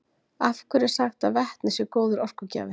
Af hverju er sagt að vetni sé góður orkugjafi?